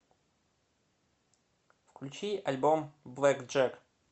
включи альбом блэкджек